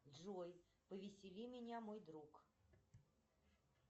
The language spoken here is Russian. джой повесели меня мой друг